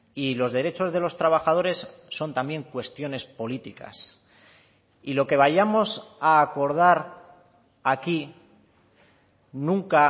y los derechos de los trabajadores son también cuestiones políticas y lo que vayamos a acordar aquí nunca